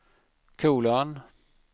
kolon